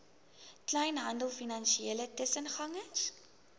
kleinhandel finansiële tussengangers